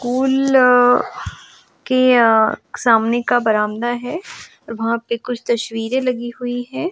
School के सामने का बरामदा है और वहां पे कुछ तस्वीरें लगी हुई है।